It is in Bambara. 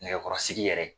Nɛgɛkɔrɔsigi yɛrɛ